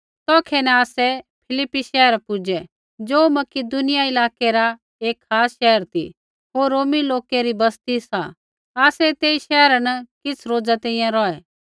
तौखै न आसै फिलिप्पी शैहरा पुजै ज़ो मकिदुनिया इलाकै रा एक खास शैहर ती होर रोमी लोकै री बस्ती सा आसै तेई शैहरा न किछ़ रोज़ा तैंईंयैं रौहै